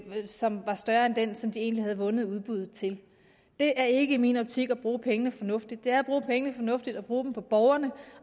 som er større end den som de egentlig havde vundet udbuddet til det er ikke i min optik at bruge pengene fornuftigt det er at bruge pengene fornuftigt at bruge dem på borgerne